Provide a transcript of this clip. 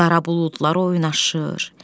Qara buludlar oynaşır.